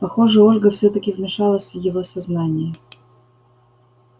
похоже ольга всё-таки вмешалась в его сознание